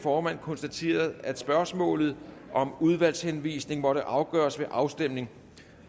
formand konstaterede at spørgsmålet om udvalgshenvisning måtte afgøres ved afstemning